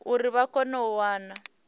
uri vha kone u wana